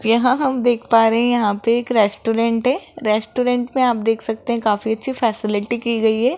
यहां हम देख पा रहे हैं यहां पे एक रेस्टोरेंट है रेस्टोरेंट पे आप देख सकते हैं काफी अच्छी फैसिलिटी की गई है।